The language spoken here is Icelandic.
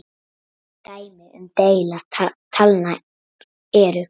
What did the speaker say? Dæmi um deila talna eru